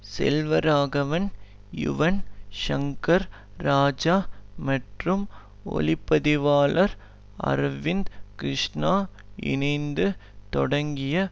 செல்வராகவன் யுவன் ஷங்கர் ராஜா மற்றும் ஒளி பதிவாளர் அர்விந்த் கிருஷ்ணா இணைந்து தொடங்கிய